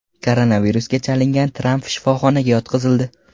Koronavirusga chalingan Tramp shifoxonaga yotqizildi.